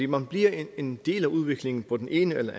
man bliver en del af udviklingen på den ene eller